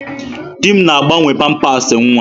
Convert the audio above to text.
Di m na-agbanwe pampasị nwa.